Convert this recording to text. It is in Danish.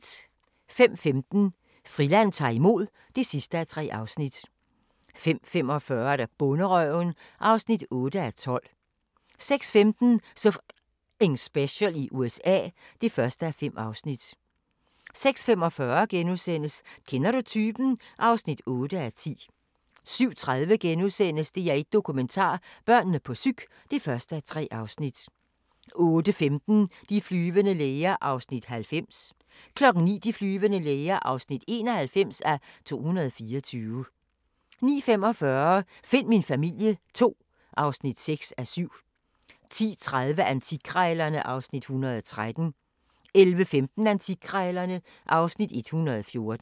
05:15: Friland ta'r imod (3:3) 05:45: Bonderøven (8:12) 06:15: So F***ing Special i USA (1:5) 06:45: Kender du typen? (8:10)* 07:30: DR1 Dokumentar: Børnene på psyk (1:3)* 08:15: De flyvende læger (90:224) 09:00: De flyvende læger (91:224) 09:45: Find min familie II (6:7) 10:30: Antikkrejlerne (Afs. 113) 11:15: Antikkrejlerne (Afs. 114)